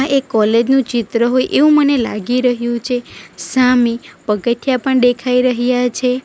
એ college નું ચિત્ર હોય એવું મને લાગી રહ્યું છે સામે પગથીયા પણ દેખાઈ રહ્યા છે.